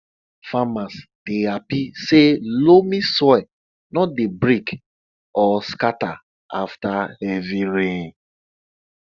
farmers dey happy say loamy soil no dey break or scatter after heavy rain